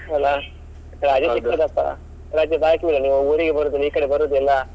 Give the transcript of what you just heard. ಅಲ್ಲಾ ರಜೆ ಸಿಕ್ತದಪ್ಪ, ರಜೆ ಬಾಕಿ ಇದೆ, ನೀವ್ ಈ ಕಡೆ ಬರುದಿಲ್ಲ ಊರಿಗೆ ಬರುದಿಲ್ಲ.